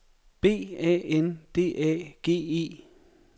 B A N D A G E